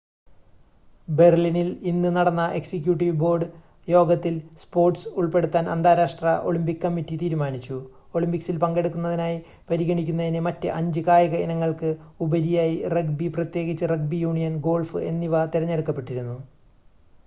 ബെർലിനിൽ ഇന്ന് നടന്ന executive board യോഗത്തിൽ സ്പോർട്‌സ് ഉൾപ്പെടുത്താൻ അന്താരാഷ്‌ട്ര ഒളിമ്പിക് കമ്മിറ്റി തീരുമാനിച്ചു ഒളിമ്പിക്സിൽ പങ്കെടുക്കുന്നതിനായി പരിഗണിക്കപ്പെടുന്നതിന് മറ്റ് അഞ്ച് കായിക ഇനങ്ങൾക്ക് ഉപരിയായി റഗ്ബി പ്രത്യേകിച്ച് റഗ്ബി യൂണിയൻ ഗോൾഫ് എന്നിവ തിരഞ്ഞെടുക്കപ്പെട്ടിരുന്നു